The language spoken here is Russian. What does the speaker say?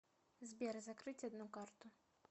сбер закрыть одну карту